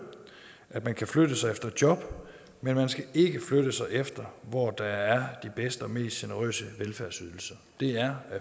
at man kan flytte sig efter job men man skal ikke flytte sig efter hvor der er de bedste og mest generøse velfærdsydelser det er